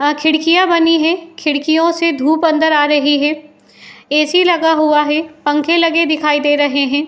आ खिड़कियाँ बनी हैं। खिडकियों से धूप अंदर आ रही है। ए सी लगा हुआ है। पंखे लगे दिखाई दे रहे हैं।